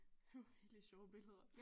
Det er nogle virkeligt sjove billeder